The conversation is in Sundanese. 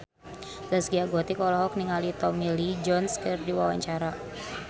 Zaskia Gotik olohok ningali Tommy Lee Jones keur diwawancara